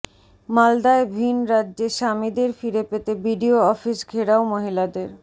মালদায় ভিন রাজ্যে স্বামীদের ফিরে পেতে বিডিও অফিস ঘেরাও মহিলাদের